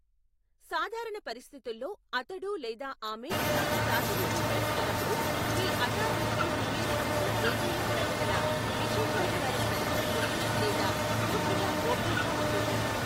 సాధారణ పరిస్థితుల్లో, అతడు లేదా ఆమె మీకు ప్రాతినిధ్యం వహిస్తున్నప్పుడు మీ అటార్నీకి మీరు చేసిన ఏదైనా ప్రకటన విశేషాధికారం కలిగి ఉంటుంది లేదా పూర్తిగా గోప్యంగా ఉంటుంది.